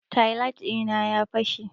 Taillight dina ya fashe.